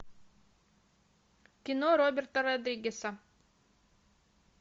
кино роберта родригеса